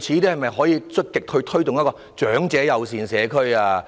政府可否積極推動長者友善社區？